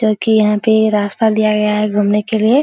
जो कि यहां पे ये रास्ता दिया गया है घूमने के लिए।